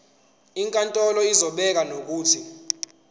inkantolo izobeka nokuthi